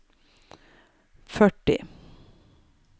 førti